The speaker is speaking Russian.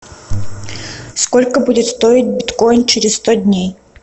сколько будет стоить биткоин через сто дней